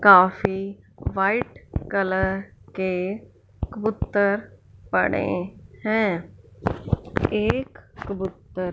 काफी white colour के कबूतर पड़े हैं एक कबूतर--